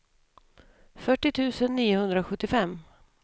fyrtio tusen niohundrasjuttiofem